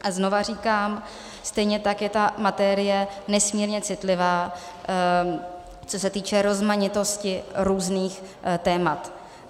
A znova říkám, stejně tak je ta materie nesmírně citlivá, co se týče rozmanitosti různých témat.